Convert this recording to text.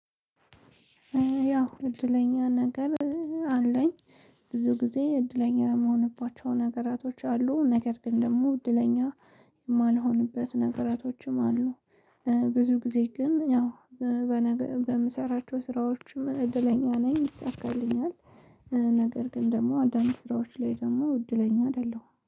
ያው እድለኛ ነገር አለኝ። ብዙ ጊዜ እድለኛ የምሆንባቸው ነገራቶች አሉ። ነገር ግን ደግሞ እድለኛ የማልሆንበት ነገራቶችም አሉ። ብዙ ጊዜ ግን ያው በነገ በምሰራቸው ስራዎችም እድለኛ ነኝ ይሳካልኛል። ነገር ግን ደግሞ አንዳንድ ስራዎች ላይ ደግሞ እድለኛ አደለሁም